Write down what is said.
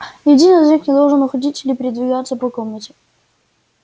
ни один из них не должен уходить или передвигаться по комнате